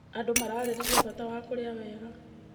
Andũ mararĩrĩria bata wa kũrĩa wega.